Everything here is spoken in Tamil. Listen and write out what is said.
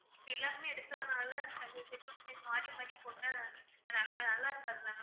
இப்ப எல்லாருமே எடுக்கிறதுனால அந்த set of time மாறி மாறி போட்டா நல்லா இருக்காது ma'am